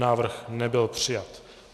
Návrh nebyl přijat.